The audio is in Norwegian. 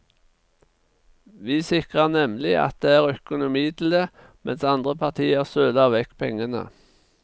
Vi sikrer nemlig at det er økonomi til det, mens andre partier søler vekk pengene.